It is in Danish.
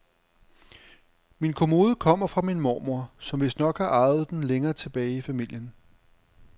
Min kommode kommer fra min mormor, som vistnok har arvet den længere tilbage i familien.